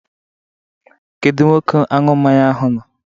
Kedu Nwoke aṅụ mmanya ahụ nọ?